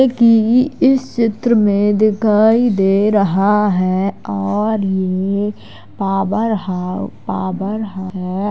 कि इस चित्र मे दिखाई दे रहा है और ये पावर हाउस पावर है।